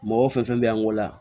Mɔgɔ fɛn fɛn bɛ an bolo yan